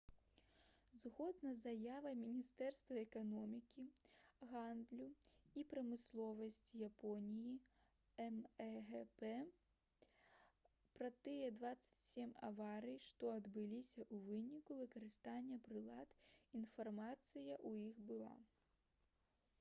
згодна з заявай міністэрства эканомікі гандлю і прамысловасці японіі мэгп пра тыя 27 аварый што адбыліся ў выніку выкарыстання прылад інфармацыя ў іх была